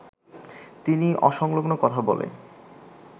তিনি অসংলগ্ন কথা বলে